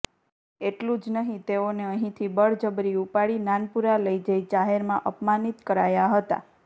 એટલું જ નહીં તેઓને અહીંથી બળબજરી ઉપાડી નાનપુરા લઇ જઇ જાહેરમાં અપમાનિત કરાયા હતાં